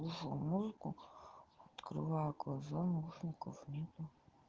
музыку открываю глаза наушников нету